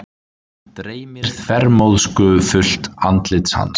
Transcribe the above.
Dreymir þvermóðskufullt andlit hans.